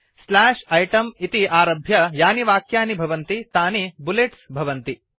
slash इतें इति आरभ्य यानि वाक्यानि भवन्ति तानि बुलेट्स भवन्ति